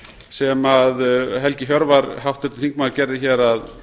sem helgi hjörvar háttvirtur þingmaður gerði hér að